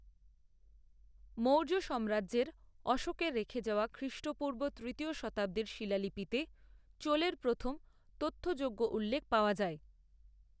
মৌর্য সাম্রাজ্যের অশোকের রেখে যাওয়া খ্রিষ্টপূর্ব তৃতীয় শতাব্দীর শিলালিপিতে চোলের প্রথম তথ্যযোগ্য উল্লেখ পাওয়া যায়।